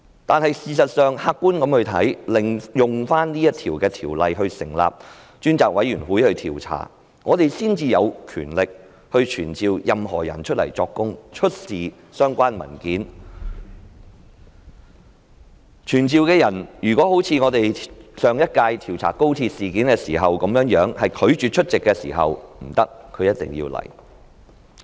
但是，事實上，客觀來看，引用《條例》成立專責委員會進行調查，我們才有權力傳召任何人到來作供，出示相關文件，被傳召的人便不能像上一屆調查高鐵事件時被傳召的人般拒絕出席會議，他是一定要來的。